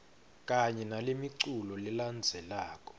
kanye nalemiculu lelandzelako